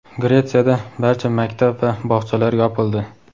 Gretsiyada barcha maktab va bog‘chalar yopildi.